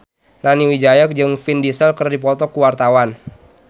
Nani Wijaya jeung Vin Diesel keur dipoto ku wartawan